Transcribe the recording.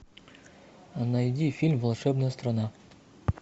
найди фильм волшебная страна